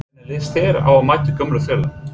Hvernig lýst þér á að mæta gömlu félögunum?